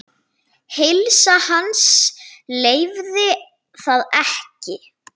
Heilsa hans leyfði það ekki.